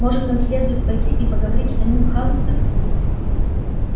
может нам следует пойти и поговорить с самим хагридом